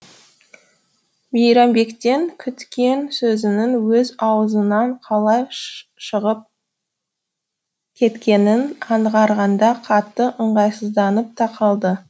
мейрамбектен күткен сөзінің өз аузынан қалай шығып кеткенін аңғарғанда қатты ыңғайсызданып та қалды